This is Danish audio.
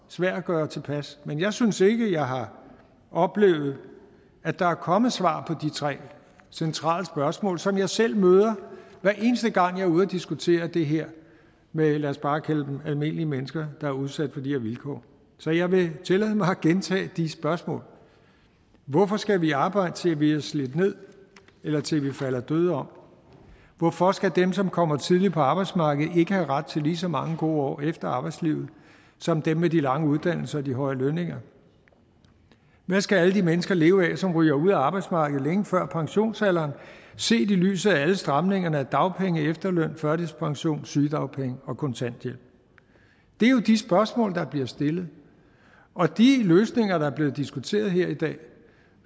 svær at gøre tilpas men jeg synes ikke jeg har oplevet at der er kommet svar på de tre centrale spørgsmål som jeg selv møder hver eneste gang jeg er ude at diskutere det her med lad os bare kalde dem almindelige mennesker der er udsat for de her vilkår så jeg vil tillade mig at gentage de spørgsmål hvorfor skal vi arbejde til vi er slidt ned eller til vi falder døde om hvorfor skal dem som kommer tidligt på arbejdsmarkedet ikke have ret til lige så mange gode år efter arbejdslivet som dem med de lange uddannelser og de høje lønninger hvad skal alle de mennesker leve af som ryger ud af arbejdsmarkedet længe før pensionsalderen set i lyset af alle stramningerne af dagpenge efterløn førtidspension sygedagpenge og kontanthjælp det er jo de spørgsmål der bliver stillet og de løsninger der er blevet diskuteret her i dag